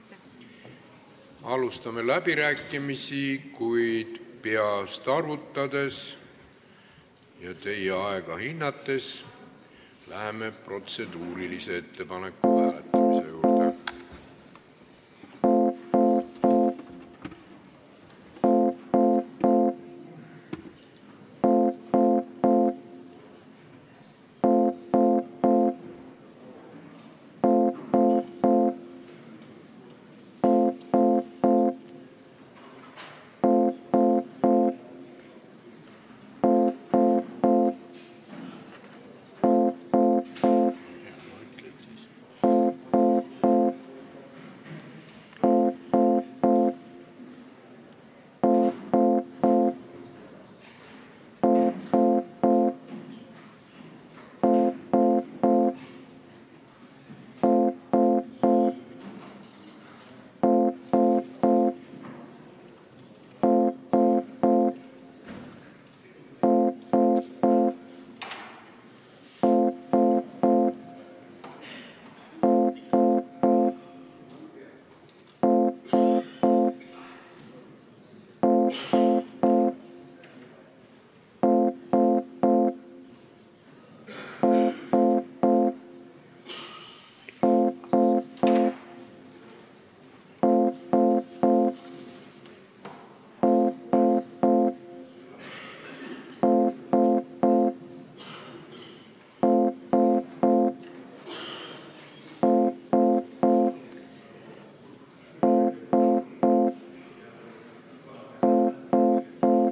Alustame läbirääkimisi, kuid peast arvutades ja aega hinnates olen teinud otsuse, et enne läheme protseduurilise ettepaneku hääletamise juurde.